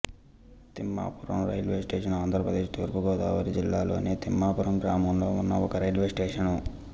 Thimmapuram railway station Andhra Pradesh తూర్పు గోదావరి జిల్లా లోని తిమ్మాపురం గ్రామంలో ఉన్న ఒక రైల్వే స్టేషను